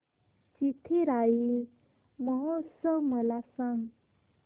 चिथिराई महोत्सव मला सांग